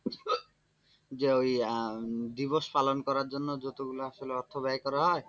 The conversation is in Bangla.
যে ই আহ দিবস পালন করার জন্য যতগুলো আসলে অর্থ ব্যয় করা হয়,